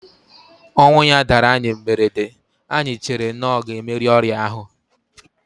Ọnwụ ya dara anyị mberede, anyị chere na ọ ga emeri ọrịa ahu